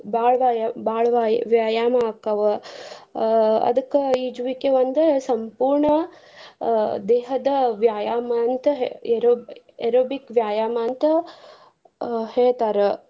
ಬಾ~ ಬಾಳ ಬಾಳ್ ವಾಯ್~ ಬಾಳ್ ವಾಯ್~ ವ್ಯಾಯಾಮ ಆಕಾವ ಅಹ್ ಅದ್ಕ ಈಜುವಿಕೆ ಒಂದು ಸಂಪೂರ್ಣ ದೇಹದ ವ್ಯಾಯಾಮ ಅಂತ aero~ aerobic ವ್ಯಾಯಾಮ ಅಂತ ಅ ಹೇಳ್ತಾರ.